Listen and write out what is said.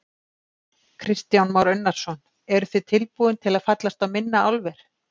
Kristján Már Unnarsson: Eruð þið tilbúin til að fallast á minna álver?